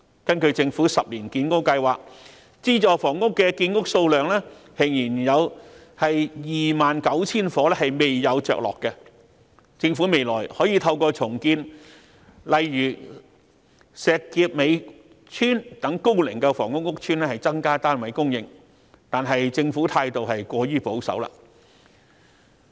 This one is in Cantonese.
根據政府10年建屋計劃，資助房屋的建屋數量仍有 29,000 伙未有着落，政府未來可以透過重建高齡房屋屋邨，例如石硤尾邨，以增加單位供應量，但政府態度過於保守。